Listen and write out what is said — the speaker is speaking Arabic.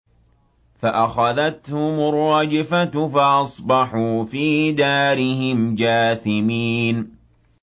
فَأَخَذَتْهُمُ الرَّجْفَةُ فَأَصْبَحُوا فِي دَارِهِمْ جَاثِمِينَ